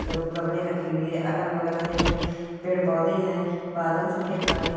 ग- गमले रखी हुई हैं गमले रखी हुई है अगल-बगल में हरे-भरे पेड़-पौधे हैं बादल सफेद काले--